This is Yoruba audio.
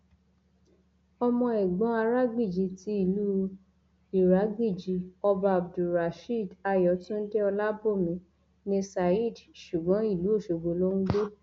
ọmọ ẹgbọn aragbíji ti ìlú iragbéjì ọba abdulrasheed ayọtúndé ọlábòmí ní saheed ṣùgbọn ìlú ọṣọgbó ló ń gbé